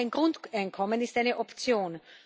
Auch ein Grundeinkommen ist eine Option.